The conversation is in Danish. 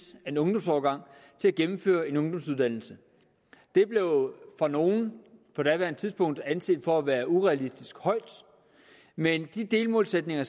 af en ungdomsårgang til at gennemføre en ungdomsuddannelse det blev for nogle på daværende tidspunkt anset for være urealistisk højt men den delmålsætning